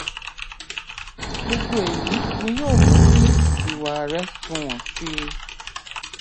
gbogbo èyí ni yóò mú kí ìwà rẹ sunwọn síi